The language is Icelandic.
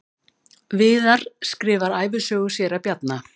Viðar skrifar ævisögu séra Bjarna